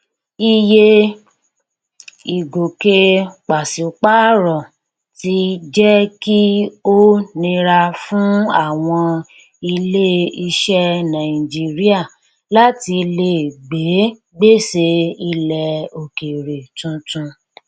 iye ìgòkè pàṣípàrọ ti jẹ kí ó nira fún àwọn ilé iṣẹ nàìjíríà láti lè gbé gbèsè ilẹ òkèèrè tuntun